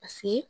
Paseke